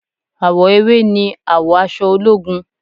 Àwọ ewé ni àwọ aṣọ ológun